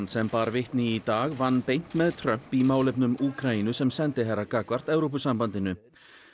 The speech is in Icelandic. sem bar vitni í dag vann beint með Trump í málefnum Úkraínu sem sendiherra gagnvart Evrópusambandinu